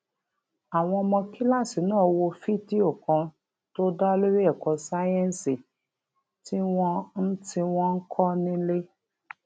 àwọn ọmọ kíláàsì náà wo fídíò kan tó dá lórí èkó sáyéǹsì tí wón ń tí wón ń kó nílé